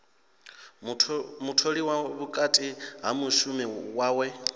mutholiwa vhukati ha mishumo yawe